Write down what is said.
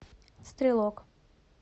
стрелок